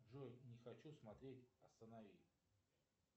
джой не хочу смотреть останови